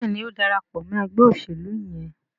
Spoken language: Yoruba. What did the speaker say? Béèni o ń darapọ̀ mọ ègbé òṣèlú yén.